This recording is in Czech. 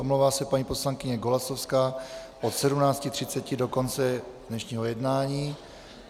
Omlouvá se paní poslankyně Golasowská od 17.30 do konce dnešního jednání.